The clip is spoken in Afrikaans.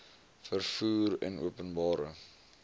vervoer en openbare